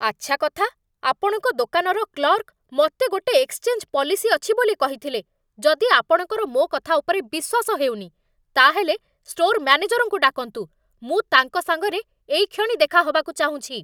ଆଚ୍ଛା କଥା! ଆପଣଙ୍କ ଦୋକାନର କ୍ଲର୍କ ମତେ ଗୋଟେ ଏକ୍ସଚେଞ୍ଜ୍ ପଲିସି ଅଛି ବୋଲି କହିଥିଲେ, ଯଦି ଆପଣଙ୍କର ମୋ' କଥା ଉପରେ ବିଶ୍ଵାସ ହେଉନି, ତା'ହେଲେ ଷ୍ଟୋର୍ ମ୍ୟାନେଜର୍‌ଙ୍କୁ ଡାକନ୍ତୁ, ମୁଁ ତାଙ୍କ ସାଙ୍ଗରେ ଏଇକ୍ଷଣି ଦେଖାହବାକୁ ଚାହୁଁଛି ।